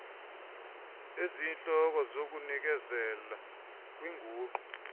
eziyintloko zokuzinikezela kwinguqu